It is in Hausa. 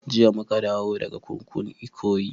Jiya muka dawo daga kurkukun ikoyi